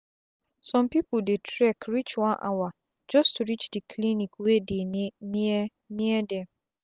sum pipu dey trek reach one hour just to reach the clinic wey dey near near dem